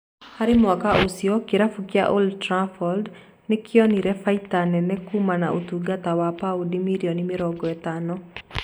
Harĩ mwaka ũcio kĩrabũ kĩa Old trafford nĩ kĩonire baita kumana na ũtugata wa paundi mirioni mĩrongo itano